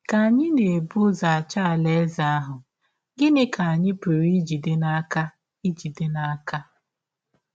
Ka anyị na - ebụ ụzọ achọ Alaeze ahụ, gịnị ka anyị pụrụ ijide n’aka ijide n’aka?